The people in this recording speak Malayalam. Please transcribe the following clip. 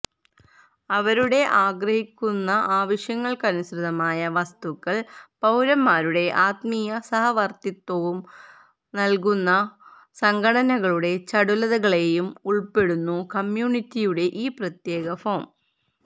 അവരുടെ ആഗ്രഹിക്കുന്നു ആവശ്യങ്ങൾക്കനുസൃതമായി വസ്തുക്കൾ പൌരന്മാരുടെ ആത്മീയ സഹവർത്തിത്വവും നൽകുന്ന സംഘടനകളുടെ ചടുലതകളെയും ഉൾപ്പെടുന്നു കമ്മ്യൂണിറ്റിയുടെ ഈ പ്രത്യേക ഫോം